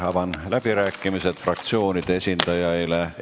Avan läbirääkimised fraktsioonide esindajaile.